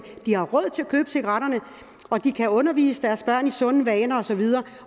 de har råd til at købe cigaretterne og de kan undervise deres børn i sunde vaner og så videre